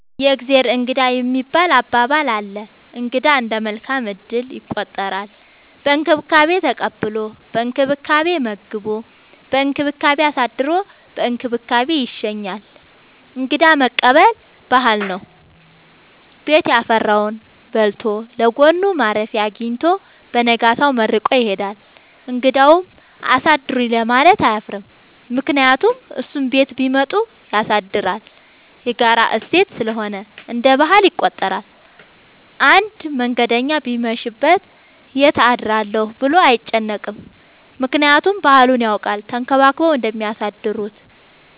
የእግዜር እንግዳ የሚባል አባባል አለ። እንግዳ እንደ መልካም እድል ይቆጠራል። በእንክብካቤ ተቀብሎ በእንክብካቤ መግቦ በእንክብካቤ አሳድሮ በእንክብካቤ ይሸኛል። እንግዳ መቀበል ባህል ነው። ቤት ያፈራውን በልቶ ለጎኑ ማረፊያ አጊኝቶ በነጋታው መርቆ ይሄዳል። እንግዳውም አሳድሩኝ ለማለት አያፍርም ምክንያቱም እሱም ቤት ቢመጡ ያሳድራል። የጋራ እሴት ስለሆነ እንደ ባህል ይቆጠራል። አንድ መንገደኛ ቢመሽ ይት አድራለሁ ብሎ አይጨነቅም። ምክንያቱም ባህሉን ያውቃል ተንከባክበው እንደሚያሳድሩት።